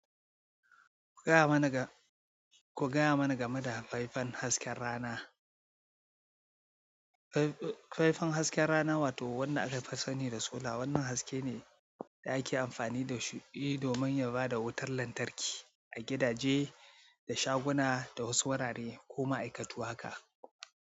Ku gaya mana ga-ku gaya mana game da faifan hasken rana. Faifan hasken rana wato wanda aka fi sani da sola. Wannan haske ne da ake amfani da shi domin ya ba da wutar lantarki a gidaje da shaguna da wasu wurare ko ma'aikatu haka.